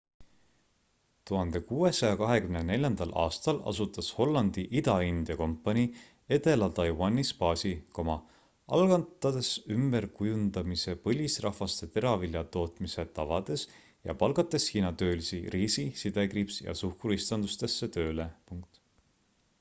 1624 aastal asutas hollandi ida-india kompanii edela taiwanis baasi algatades ümberkujundamise põlisrahvaste teraviljatootmise tavades ja palgates hiina töölisi riisi ja suhkruistandustesse tööle